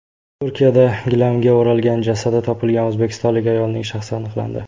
Turkiyada gilamga o‘ralgan jasadi topilgan o‘zbekistonlik ayolning shaxsi aniqlandi.